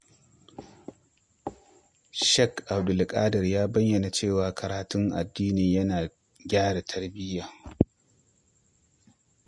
Sheikh Abdulƙadir ya bayyana cewa karatun addini yana gyara tarbiyya.